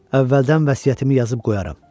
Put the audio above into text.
Əvvəldən vəsiyyətimi yazıb qoyaram.